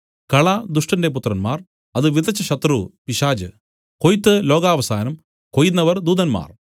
കള ദുഷ്ടന്റെ പുത്രന്മാർ അത് വിതച്ച ശത്രു പിശാച് കൊയ്ത്ത് ലോകാവസാനം കൊയ്യുന്നവർ ദൂതന്മാർ